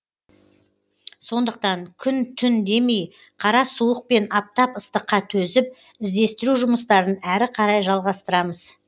сондықтан күн түн демей қара суық пен аптап ыстыққа төзіп іздестіру жұмыстарын әрі қарай жалғастырамыз